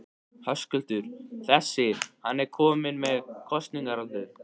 Höskuldur: Þessi, hann er ekki kominn með kosningaaldur?